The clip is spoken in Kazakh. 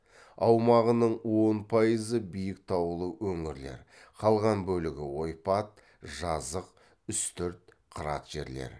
аумағының он пайызы биік таулы өңірлер қалған бөлігі ойпат жазық үстірт қырат жерлер